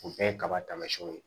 O bɛɛ ye kaba tamasiyɛnw ye